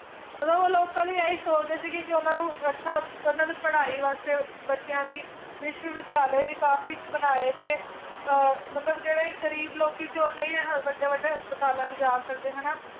ਮਤਲਬ ਉਹ ਲੋਕਾਂ ਲਈ ਇਹੀ ਸੋਚਦੇ ਸੀਗੇ ਕਿ ਉਹਨਾਂ ਨੂੰ ਅੱਛਾ ਉਹਨਾਂ ਦੀ ਪੜ੍ਹਾਈ ਵਾਸਤੇ ਬੱਚਿਆਂ ਦੀ ਵਿਸ਼ਵ ਵਿਦਿਆਲੇ ਵੀ ਕਾਫ਼ੀ ਬਣਾਏ ਤੇ ਅਹ ਮਤਲਬ ਜਿਹੜੇ ਗ਼ਰੀਬ ਲੋਕੀ ਸੀ ਉਹ ਨਹੀਂ ਵੱਡੇ ਵੱਡੇ ਹਸਪਤਾਲਾਂ 'ਚ ਜਾ ਸਕਦੇ ਹਨਾ